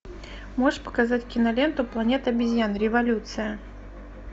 можешь показать киноленту планета обезьян революция